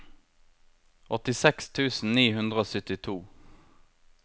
åttiseks tusen ni hundre og syttito